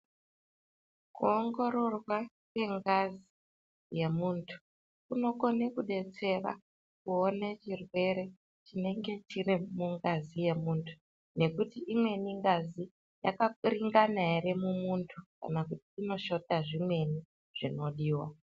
Ku ongororwa kwe ngazi ye muntu kunokone kudetsera kuone chirwere chinenge chiri mungazi ye muntu nekuti imweni ngazi yaka purungana ere mu muntu kana kuti ino shota zvimweni zvinodiwa.